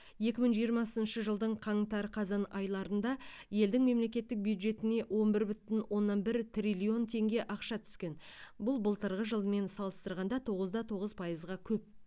екі мың жиырмасыншы жылдың қаңтар қазан айларында елдің мемлекеттік бюджетіне он бір бүтін оннан бір триллион теңге ақша түскен бұл былтырғы жылмен салыстырғанда тоғыз да тоғыз пайызға көп